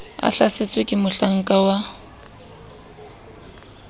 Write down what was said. a hlasetswe ke mohlakana wa